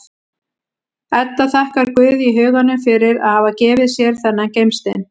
Edda þakkar Guði í huganum fyrir að hafa gefið sér þennan gimstein.